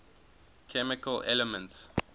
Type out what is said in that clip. chemical elements